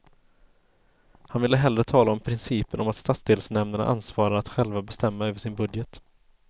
Han ville hellre tala om principen om stadsdelsnämndernas ansvar att själva bestämma över sin budget.